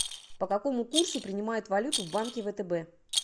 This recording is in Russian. по какому курсу принимают валюту в банке втб